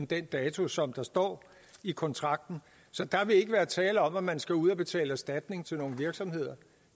den dato som der står i kontrakten så der vil ikke være tale om at man skal ud at betale erstatning til nogle virksomheder